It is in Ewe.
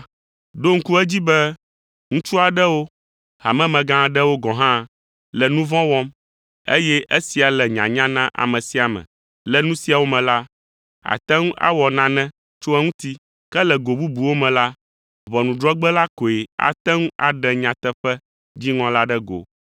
Ɖo ŋku edzi be ŋutsu aɖewo, hamemegã aɖewo gɔ̃ hã, le nu vɔ̃ wɔm, eye esia le nyanya na ame sia ame. Le nu siawo me la, àte ŋu awɔ nane tso eŋuti. Ke le go bubuwo me la, ʋɔnudrɔ̃gbe la koe ate ŋu aɖe nyateƒe dziŋɔ la ɖe go.